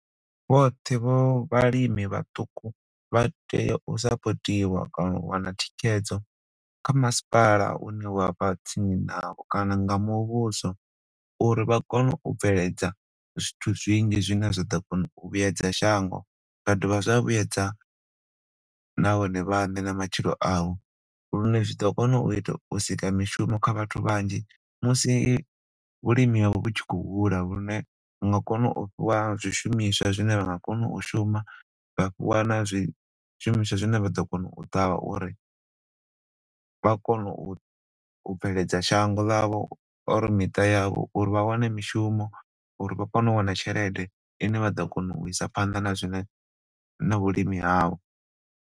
Vhoṱhe vho vhalimi vhaṱuku vha tea u support iwa kana u wana thikhedzo kha masipala une wa vha tsini nao kana nga muvhuso uri vha kone u bveledza zwithu zwinzhi zwine zwa ḓo kona u vhuedza shango zwa do vha zwa vhuedza na vhone vhaṋe na matshilo avho lune zwi ḓo kona u ita, u sika mishumo kha vhathu vhanzhi musi vhulimi havho hu tshi khou hula lune vha nga kona u fhiwa zwi shumiswa zwine vha nga kona u shuma, vha fhiwa na zwi shumiswa zwine vha ḓo kona u ṱavha uri vha kona u bveledza shango ḽavho uri miṱa yavho, uri vha wane mishumo uri vha kone u wana tshelede ine vha ḓo kona u isa phanḓa na zwine na vhulimi havho.